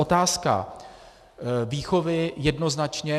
Otázka výchovy jednoznačně.